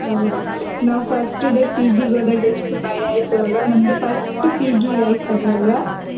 ಹೌದು ನಾವ್ First day PG ಗ್ ಹೋದಾಗ ಎಷ್ಟು ಭಯ ಆಯ್ತು ಅಲ್ವಾ ನಮ್ದು first PG life ಅದು ಅಲ್ವಾ.